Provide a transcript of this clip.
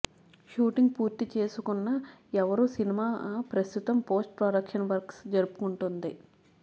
shooting పూర్తి చేసుకున్న ఎవరు సినిమా ప్రస్తుతం పోస్ట్ ప్రొడక్షన్ వర్క్స్ జరుపుకుంటుంది